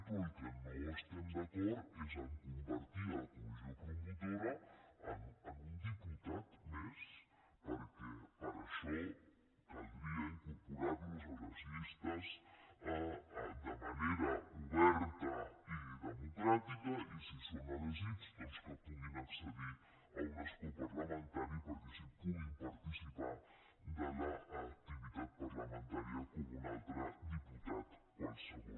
però amb el que no estem d’acord és a convertir la comissió promotora en un diputat més perquè per això caldria incorporar los a les llistes de manera oberta i democràtica i si són elegits que puguin accedir a un escó parlamentari perquè així puguin participar en l’activitat parlamentària com un altre diputat qualsevol